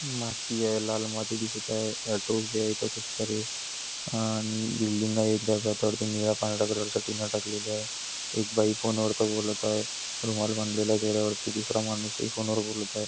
माती आहे लाल माती दिसत आहे ऑटो उभे आहेत इथे खुप सारे आणि बिल्डिंग आहे त्यावर निळ्या पांढऱ्या कलरच्या टीना टाकल्या आहेत एक बाई फोन वरत बोलत आहे रुमाल बांधलेला आहे चेहऱ्यावरती दुसरा माणूस ही फोन वर बोलत आहे.